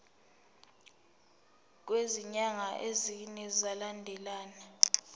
kwezinyanga ezine zilandelana